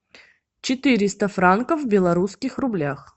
четыреста франков в белорусских рублях